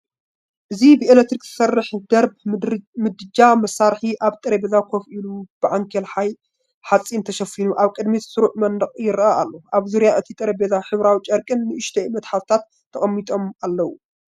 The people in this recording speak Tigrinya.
እዚ ብኤሌክትሪክ ዝሰርሕ ድርብ ምድጃ መሳርሒ ኣብ ጠረጴዛ ኮፍ ኢሉ ብዓንኬል ሓጺን ተሸፊኑ ኣብ ቅድሚ ስሩዕ መንደቕ ይረአ ኣሎ። ኣብ ዙርያ እቲ ጠረጴዛ ሕብራዊ ጨርቅን ንኣሽቱ መትሓዚታትን ተቐሚጦም ኣለዉ።